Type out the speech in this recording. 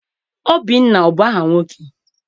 Obinna abụ aha nwoke?